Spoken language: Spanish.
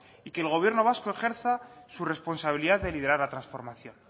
y que el gobierno vasco ejerza su responsabilidad de liderar la transformación